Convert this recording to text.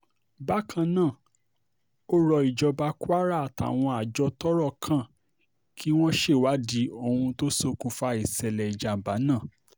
bákan náà ó rọ ìjọba kwara àtàwọn àjọ tọ́rọ̀ kan kí wọ́n ṣèwádìí ohun tó ṣokùnfà ìṣẹ̀lẹ̀ ìjàm̀bá náà